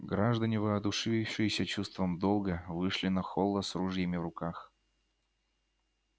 граждане воодушевившиеся чувством долга вышли на холла с ружьями в руках